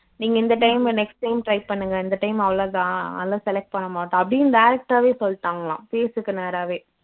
நீங்க இந்த time next time try பண்ணுங்க இந்த time அவ்வளவுதான் அதெல்லாம் select பண்ண மாட்டோம் அப்படின்னு direct ஆவே சொல்லிட்டாங்கலாம் face க்கு நேராவே